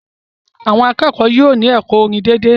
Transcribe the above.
Àwọn akẹ́kọ̀ọ́ yóò ní ẹ̀kọ́ orin dédé